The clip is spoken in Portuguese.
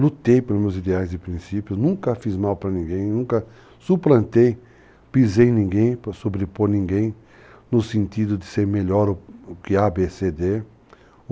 Lutei pelos meus ideais e princípios, nunca fiz mal para ninguém, nunca suplantei, pisei em ninguém para sobrepor ninguém no sentido de ser melhor do que ABCD.